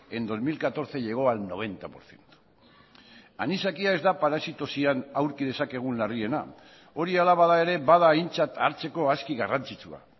en dos mil catorce llegó al noventa por ciento anisakia ez da parasitosian aurki dezakegun larriena hori hala bada ere bada aintzat hartzeko aski garrantzitsua